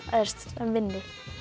vinni